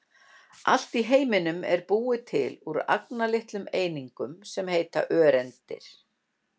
allt í heiminum er búið til úr agnarlitlum einingum sem heita öreindir